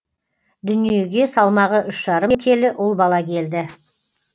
дүниеге салмағы үш жарым келі ұл бала келді